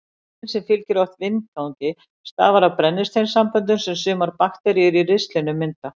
Lyktin sem fylgir oft vindgangi stafar af brennisteinssamböndum sem sumar bakteríur í ristlinum mynda.